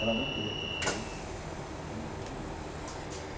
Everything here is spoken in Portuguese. Ela não queria que eu fosse né imagina.